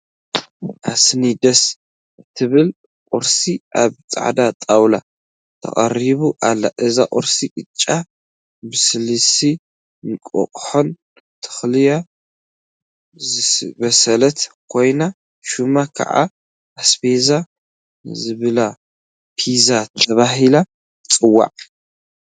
አሰኒ ደስ እትብል ቁርሲ! አብ ፃዕዳ ጣውላ ተቀሪባ አላ፡፡ እዛ ቁርሲ ቅጫ ብስልሲን እንቋቁሖን ተለክያ ዝበሰለት ኮይና፤ ሹማ ከዓ አስቤዛ ዘይብላ ፒዛ ተባሂላ ትፅዋዕ፡፡